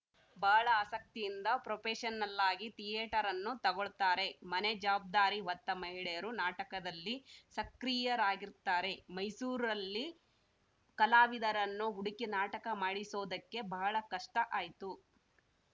ಬಹಳ ಆಸಕ್ತಿಯಿಂದ ಪ್ರೊಪೆಶನಲ್ಲಾಗಿ ಥಿಯೇಟರ್‌ ಅನ್ನು ತಗೊಳ್ತಾರೆ ಮನೆ ಜವಾಬ್ದಾರಿ ಹೊತ್ತ ಮಹಿಳೆಯರೂ ನಾಟಕದಲ್ಲಿ ಸಕ್ರಿಯರಾಗಿರ್ತಾರೆ ಮೈಸೂರಲ್ಲಿ ಕಲಾವಿದರನ್ನು ಹುಡುಕಿ ನಾಟಕ ಮಾಡಿಸೋದಕ್ಕೆ ಬಹಳ ಕಷ್ಟಆಯ್ತು